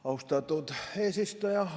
Austatud eesistuja!